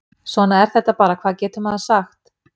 Svona er þetta bara, hvað getur maður sagt?